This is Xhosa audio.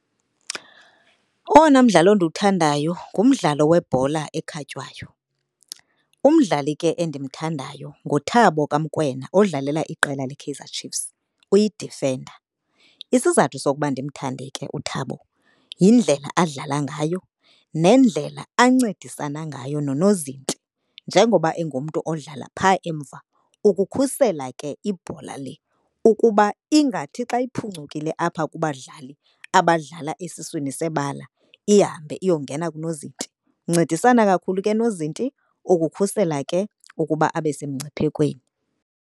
Owona mdlalo ndiwuthandayo ngumdlalo webhola ekhatywayo. Umdlali ke endimthandayo nguThabo kaMokoena odlala iqela leKaizer Chief's, uyidifenda. Isizathu sokuba ndimthande ke uThabo yindlela adlala ngayo nendlela ancedisana ngayo nonozinti. Njengoba engumntu odlala pha emva, ukukhusela ke ibhola le ukuba ingathi xa iphuncukile apha kubadlali abadlala esiswini sebala ihambe iyongena kunozinti. Uncedisana kakhulu ke nozinti ukukhusela ke ukuba abe semngciphekweni.